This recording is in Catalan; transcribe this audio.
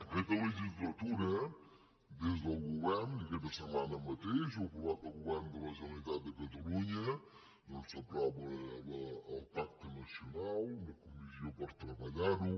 aquesta legislatura des del govern i aquesta setmana mateix ho ha aprovat el govern de la generalitat de catalunya s’ha aprovat el pacte nacional una comissió per treballar ho